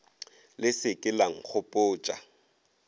le se ke la nkgopotša